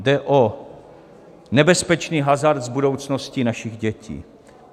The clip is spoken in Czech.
Jde o nebezpečný hazard s budoucností našich dětí.